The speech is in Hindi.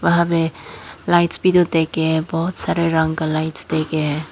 वहां पे लाइट्स वीडियो देके है बहोत सारे रंग का लाइट्स देके है।